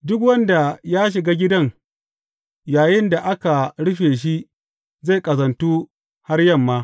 Duk wanda ya shiga gidan yayinda aka rufe shi zai ƙazantu har yamma.